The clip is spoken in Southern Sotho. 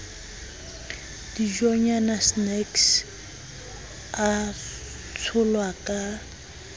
dijonyana snacks a tsholwa ka